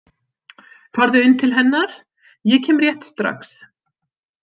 Farðu inn til hennar, ég kem rétt strax